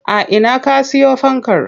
A ina ka siyo fankar?